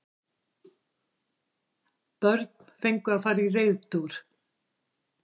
Börn fengu að fara í reiðtúr